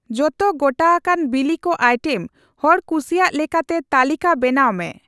ᱡᱚᱛᱚ ᱜᱚᱴᱟᱟᱠᱟᱱ ᱵᱤᱞᱤ ᱠᱚ ᱟᱭᱴᱮᱢ ᱦᱚᱲ ᱠᱩᱥᱤᱭᱟᱜ ᱞᱮᱠᱟᱛᱮ ᱛᱟᱹᱞᱤᱠᱟ ᱵᱮᱱᱟᱣ ᱢᱮ ᱾